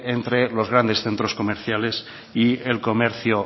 entre los grandes centros comerciales y el comercio